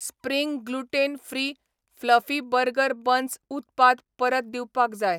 Spring gluten free fluffy burger buns उत्पाद परत दिवपाक जाय.